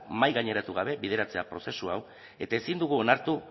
mahaigaineratu gabe bideratzea prozesu hau eta ezin dugu onartu